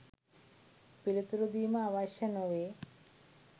පිළිතුරු දීම අවශ්‍ය නොවේ.